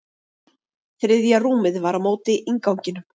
Þriðja rúmið var á móti innganginum.